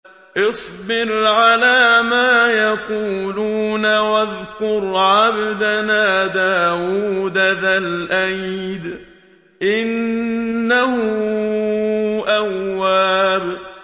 اصْبِرْ عَلَىٰ مَا يَقُولُونَ وَاذْكُرْ عَبْدَنَا دَاوُودَ ذَا الْأَيْدِ ۖ إِنَّهُ أَوَّابٌ